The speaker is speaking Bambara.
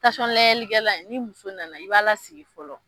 Tasɔn laŋɛli kɛla in ni muso nana i b'a la sigi fɔlɔ